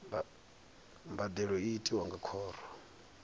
mbadelo i tiwa nga khoro